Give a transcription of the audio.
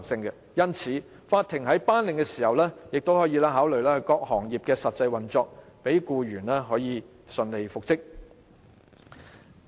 因此，法庭在作出復職的命令時可考慮各行業的實際運作，讓僱員可以順利復職。